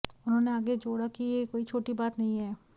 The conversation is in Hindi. उन्होंने आगे जोड़ा कि यह कोई छोटी बात नहीं है